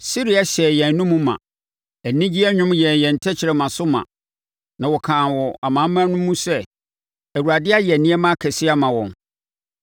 Sereɛ hyɛɛ yɛn anomu ma, anigyeɛ nnwom yɛɛ yɛn tɛkrɛma so ma. Na wɔkaa wɔ amanaman no mu sɛ, “ Awurade ayɛ nneɛma akɛseɛ ama wɔn.”